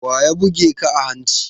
Waya buge ka a hanci?